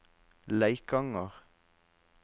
Leikanger